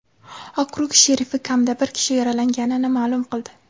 Okrug sherifi kamida bir kishi yaralanganini ma’lum qildi.